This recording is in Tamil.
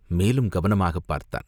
மேலும் கவனமாகப் பார்த்தான்.